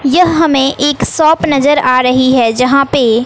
यह हमें एक शॉप नजर आ रही है जहां पे--